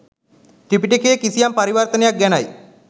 ත්‍රිපිටකයේ “කිසියම්” පරිවර්තනයක් ගැනයි.